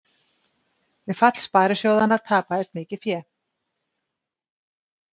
Við fall sparisjóðanna tapaðist mikið fé